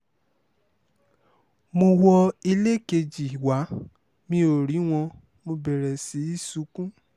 mo wọ ilé kejì wá mi ò rí wọn mo bẹ̀rẹ̀ sí í sunkún